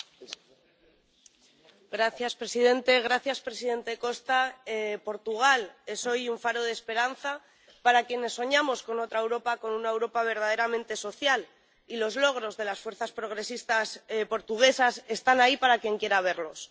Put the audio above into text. Señor presidente, señor Costa, Portugal es hoy un faro de esperanza para quienes soñamos con otra Europa, con una Europa verdaderamente social, y los logros de las fuerzas progresistas portuguesas están ahí para quien quiera verlos.